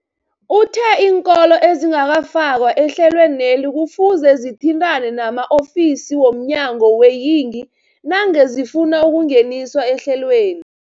Uthe iinkolo ezingakafakwa ehlelweneli kufuze zithintane nama-ofisi wo mnyango weeyingi nangange zifuna ukungeniswa ehlelweni.